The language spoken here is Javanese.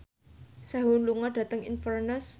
Sehun lunga dhateng Inverness